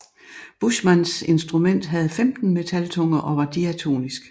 Buschmanns instrument havde 15 metaltunger og var diatonisk